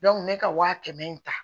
ne ka wa kɛmɛ in ta